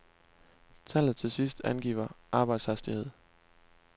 Tallet til sidst angiver arbejdshastighed.